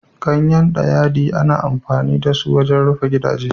Ganyen dayadii ana amfani da su wajen rufe gidaje.